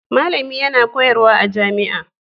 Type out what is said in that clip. Malami yana koyarwa a jami'a